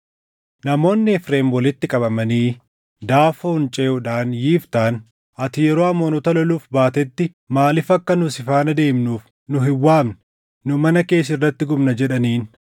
Namoonni Efreem walitti qabamanii Daafoon ceʼuudhaan Yiftaan, “Ati yeroo Amoonota loluuf baatetti maaliif akka nu si faana deemnuuf nu hin waamne? Nu mana kee sirratti gubna” jedhaniin.